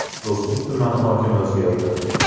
Do‘stlik tumani hokimi o‘zgardi.